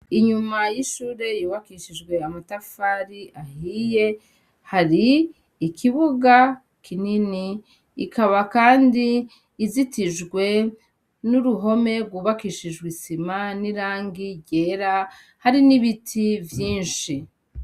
Inyuma y'ishure yubakishijwe amatafari ahiye, hari ikibuga kinini, ikaba kandi izitijwe n'uruhome rwubakishijwe isima n'rangi ryera hari n'ibiti vyinshi.